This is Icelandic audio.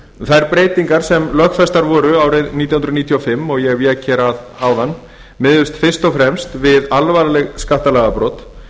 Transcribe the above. þær breytingar sem lögfestar voru árið nítján hundruð níutíu og fimm og ég vék hér að áðan miðuðust fyrst og fremst við alvarleg skattalagabrot